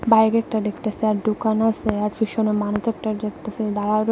বাইরে একটা ডেকতাসি আর ডোকান আসে আর পিসোনে মানুত একটা ডেকতাসি দাঁড়ায় রইস--